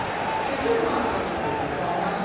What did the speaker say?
সে তো মারওয়ারি দের বাঙালিদের